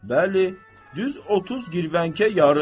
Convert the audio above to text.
Bəli, düz 30 girvankə yarım.